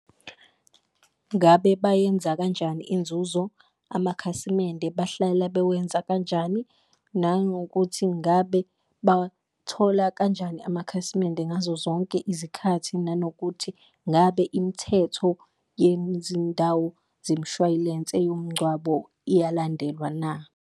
Ngabe bayenza kanjani inzuzo? Amakhasimende bahlala bewenza kanjani, nangokuthi ngabe bawathola kanjani amakhasimende ngazo zonke izikhathi? Nanokuthi ngabe imithetho zemshwayilense yomngcwabo iyalandelwa na?